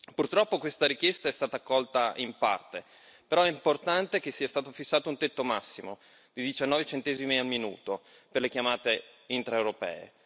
Purtroppo, questa richiesta è stata accolta solo in parte, però, è importante che sia stato fissato un tetto massimo di 19 centesimi al minuto per le chiamate intraeuropee.